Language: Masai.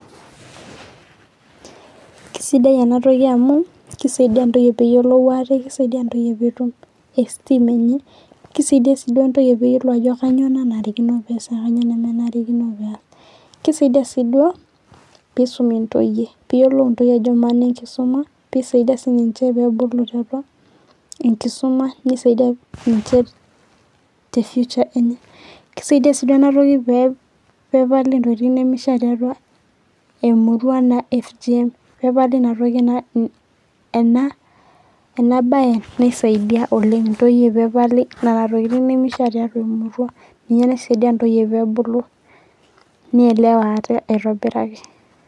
kisidai ena tokia amu kisaidia ntoyie peyiolou ate kisaidia ntoyie petum esteem enye kisaidia si duo ntoyie peyiolou ajo kanyio nenare piasa kanyio nemanarikino piasa kisaidia si duo pisumi ntoyie piyiolou intoyie peyiolou intoyie ama naa enkisuma pisaidia siniche pedulu apa enkisuma nisaidia niche te future kisaidia si pe pepali intokitin nemeisha tiatua emurua naijio fgm pepali ina ina ena bae naisadia oleng pepali nena tokitin nemeisha tiatua emurua ninye naisadia ntoyie pebulu neelewa ate aitobiraki.